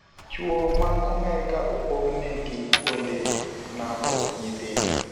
Chuo mag Amerka opogne gi kuonde napo nyithindo.